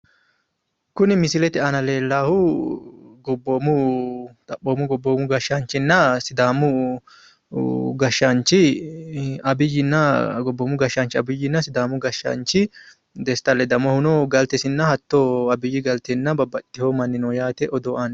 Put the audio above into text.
Kuni misilete aana leellahu gobboomu xaphoomu gobboomu gashshaanchinna sidaamu gashshaanchi Abiyyinna gobboomu gashshaanchi Abiyyinna sidaamu gashshaanchi Desta Ledamohuno galtesinna hatto Abiyyi galtenna babbaxxewu manni no yaate odoo aanni no.